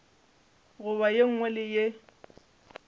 goba ye nngwe le ye